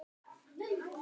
Hvenær lauk henni aftur?